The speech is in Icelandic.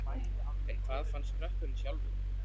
En hvað fannst krökkunum sjálfum?